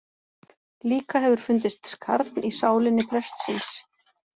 Líka hefur fundist skarn í sálinni prestsins.